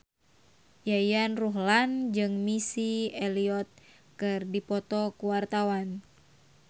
Yayan Ruhlan jeung Missy Elliott keur dipoto ku wartawan